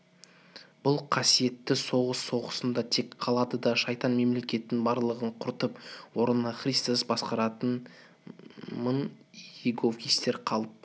бұл қасиетті соғыс соғысында тек қалады да шайтан мемлекетінің барлығын құртып орнына христос басқаратын мың иеговистер қалып